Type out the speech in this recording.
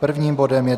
Prvním bodem je